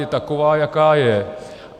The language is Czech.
Je taková, jaká je.